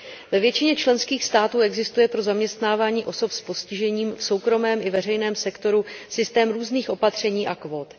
Ve většině členských států existuje pro zaměstnávání osob s postižením v soukromém i veřejném sektoru systém různých opatření a kvót.